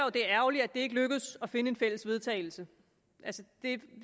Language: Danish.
at det er ærgerligt at det ikke lykkedes at finde et fælles vedtagelse